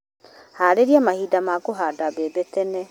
Harĩria marima makũhanda mbembe tene.